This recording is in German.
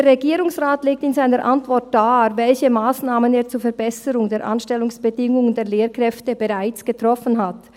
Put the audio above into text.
Der Regierungsrat legt in seiner Antwort dar, welche Massnahmen er zur Verbesserung der Anstellungsbedingungen der Lehrkräfte bereits getroffen hat.